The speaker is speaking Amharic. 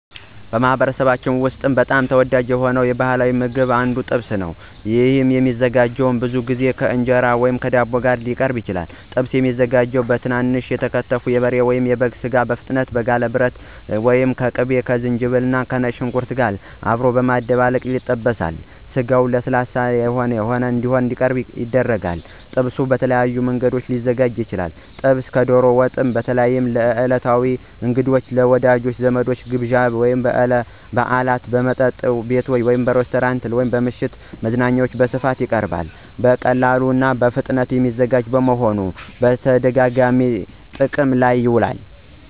በማኅበረሰባችን ውስጥ በጣም ተወዳጅ ከሆኑት ባሕላዊ ምግቦች አንዱ ጥብስ ነው። ይህ ምግብ ብዙ ጊዜ ከእንጀራ ወይም ከዳቦ ጋር ይቀርባል። ጥብስ የሚዘጋጀው በትንንሽ የተከተፈ የበሬ ወይም የበግ ሥጋ በፍጥነት በጋለ ብረት ላይ ከንጥር ቅቤ፣ ዝንጅብል፣ ከነጭ ሽንኩርትና ከአረንጓዴ ቃሪያ ጋር በመጠበስ ነው። ስጋው ለስለስ ያለ ሆኖ እንዲቀርብ ጥንቃቄ ይደረጋል። ጥብስ በተለያዩ መንገዶች ሊዘጋጅ ይችላል። ጥብስ ከዶሮ ወጥ በተለይ ለዕለታዊ እንግዶች፣ ለወዳጅ ዘመድ ግብዣዎች፣ ለበዓላት እና በመጠጥ ቤቶች (ሬስቶራንቶች) ለምሽት መዝናኛዎች በስፋት ይቀርባል። በቀላሉና በፍጥነት የሚዘጋጅ በመሆኑ በተደጋጋሚ ጥቅም ላይ ይውላል።